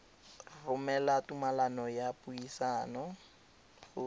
romela tumalano ya dipuisano go